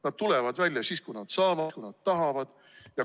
Nad tulevad välja siis, kui nad saavad, kui nad tahavad.